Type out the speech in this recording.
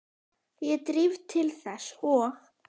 Ég þríf til þess og